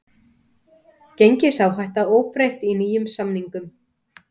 Gengisáhætta óbreytt í nýjum samningum